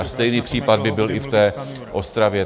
A stejný případ by byl i v té Ostravě.